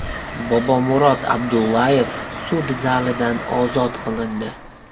Bobomurod Abdullayev sud zalidan ozod qilindi .